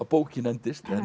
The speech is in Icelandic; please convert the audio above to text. bókin endist